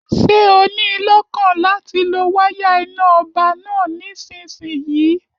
Ṣé o níi lọ́kàn láti lo wáyà iná ọba náà nísinsìnyí?